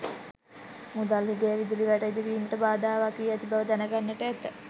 මුදල් හිඟය විදුලි වැට ඉදිකිරීමට බාධාවක් වී ඇති බව දැනගන්නට ඇත.